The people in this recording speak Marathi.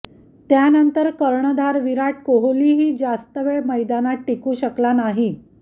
त्यानंतर कर्णधार विराट कोहलीही जास्त वेळ मैदानात टिकू शकला नाही